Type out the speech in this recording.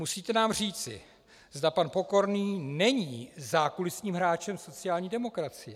Musíte nám říci, zda pan Pokorný není zákulisním hráčem sociální demokracie.